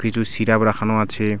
কিছু সিরাপ রাখানো আছে।